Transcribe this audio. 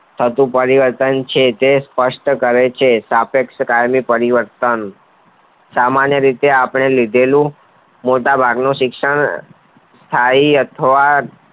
થતું પરિવર્તન છે તે સ્પષ્ટ કરે છે સાપેક્ષ કાયમી પરિવર્તન સામાન્ય રીતે આપણે લીધેલું મોટા ભાગનું શિક્ષણ સ્થાયી અથવા